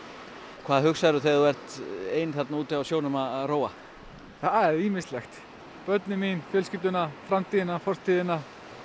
hvað hugsaðu þegar þú ert ein þarna úti á sjónum að róa það er ýmislegt börnin mín fjölskylduna framtíðina fortíðina